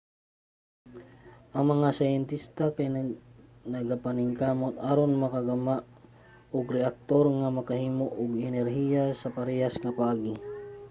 ang mga siyentista kay nagapaningkamot aron makagama og reaktor nga makahimo og energiya sa parehas nga paagi